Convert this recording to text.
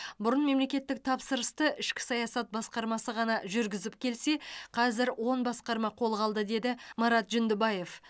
бұрын мемлекеттік тапсырысты ішкі саясат басқармасы ғана жүргізіп келсе қазір он басқарма қолға алды деді марат жүндібаев